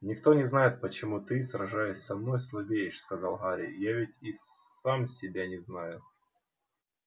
никто не знает почему ты сражаясь со мной слабеешь сказал гарри я ведь и сам себя не знаю